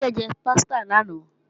Ṣé Kíkẹ́ jẹ pásítà lánàá?